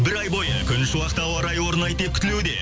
бір ай бойы күншуақты ауа райы орнайды деп күтілуде